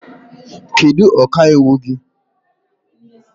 Kedu ọka iwu gị?